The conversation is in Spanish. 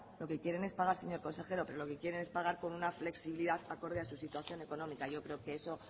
lo que quieren es pagar señor consejero pero lo que quieren es pagar con una flexibilidad acorde a su situación económica yo creo que eso